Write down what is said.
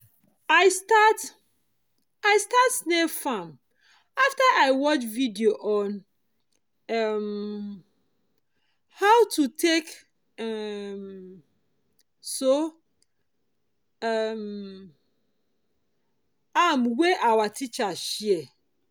i start i start snail farm after i watch video on um how i go take um so um am wey our teacher share